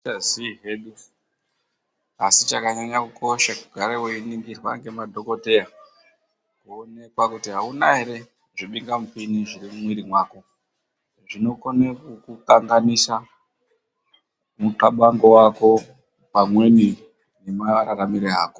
Hatichazii hedu asi chakanyanya kukosha kugara veiningirwa ngemadhogodheya. Voonekwa kuti hakuna ere zvibingamuoini zviri mumwiri mako. Zvinokone kukukanganisa mutxabango vako pamweni nemararamiro ako.